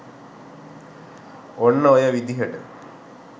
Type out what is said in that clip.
ඔන්න ඔය විදිහට